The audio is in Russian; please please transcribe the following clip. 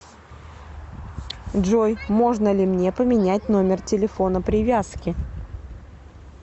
джой можно ли мне поменять номер телефона привязки